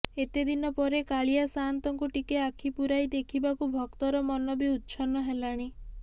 ଏତେ ଦିନ ପରେ କାଳିଆ ସାଆନ୍ତଙ୍କୁ ଟିକେ ଆଖି ପୂରାଇ ଦେଖିବାକୁ ଭକ୍ତର ମନ ବି ଉଚ୍ଛନ୍ନ ହେଲାଣି